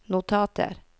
notater